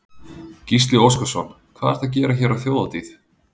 Gísli Óskarsson: Hvað ertu að gera hér á þjóðhátíð?